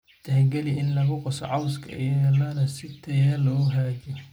Tixgeli in lagu qaso cawska iyo lucerne si tayada loo hagaajiyo